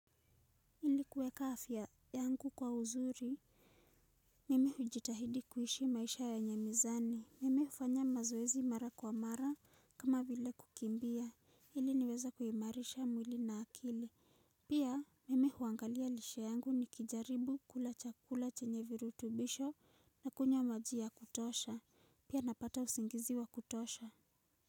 Ili kuweka afya yangu kwa uzuri mimi hujitahidi kuishi maisha yenye mizani. Mimi hufanya mazoezi mara kwa mara kama vile kukimbia ili niweze kuimarisha mwili na akili. Pia mimi huangalia lishe yangu nikijaribu kula chakula chenye virutubisho na kunywa maji ya kutosha. Pia napata usingizi wa kutosha.